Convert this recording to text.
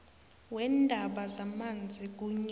weendaba zamanzi kunye